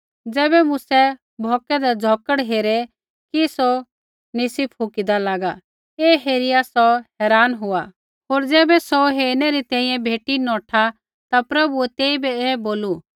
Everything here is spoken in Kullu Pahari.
ज़ैबै मूसै भौकदै झ़ौकड़ हेरे कि सौ निसी फूकिदै लागै ऐ हेरिआ सौ हैरान हुआ होर ज़ैबै सौ हेरनै री तैंईंयैं भेटी नौठा ता प्रभुऐ तेइबै ऐ बोलू